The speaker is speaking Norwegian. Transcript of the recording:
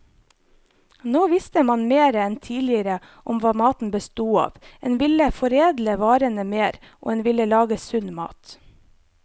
Nå visste man mer enn tidligere om hva maten bestod av, en ville foredle varene mer, og en ville lage sunn mat.